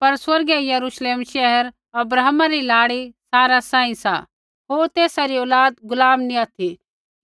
पर स्वर्गीय यरूश्लेम शैहरा अब्राहमा री लाड़ी सारा सांही सा होर तेसा री औलाद गुलाम नैंई ऑथि